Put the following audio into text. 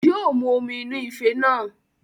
Yóo mu omi inú ife náà